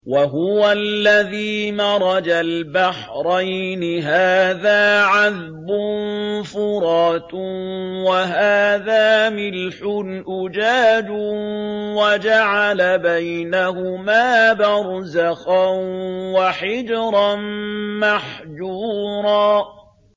۞ وَهُوَ الَّذِي مَرَجَ الْبَحْرَيْنِ هَٰذَا عَذْبٌ فُرَاتٌ وَهَٰذَا مِلْحٌ أُجَاجٌ وَجَعَلَ بَيْنَهُمَا بَرْزَخًا وَحِجْرًا مَّحْجُورًا